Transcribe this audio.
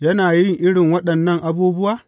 Yana yin irin waɗannan abubuwa?